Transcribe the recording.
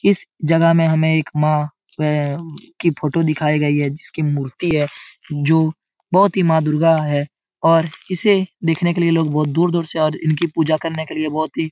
इस जगह में हमें एक मां उमम की फोटो दिखाई गई है जिसकी मूर्ति है जो बहुत ही मां दुर्गा है और इसे देखने के लिए लोग बहुत दूर-दूर से और इनकी पूजा करने के लिए बहुत ही --